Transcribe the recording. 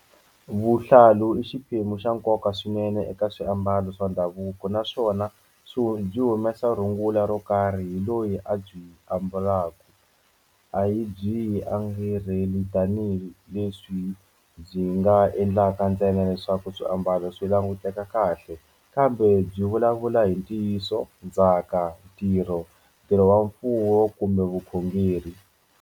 Vuhlalu i xiphemu xa nkoka swinene eka swiambalo swa ndhavuko naswona swi wu byi humesa rungula ro karhi hi loyi a byi ambalaka a yi byi yi tanihileswi byi nga endlaka ntsena leswaku swiambalo swi languteka kahle kambe byi vulavula hi ntiyiso ndzhaka ntirho ntirho wa mfuwo kumbe vukhongeri.